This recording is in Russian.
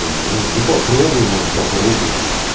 не знаю ну попробуй может попробуй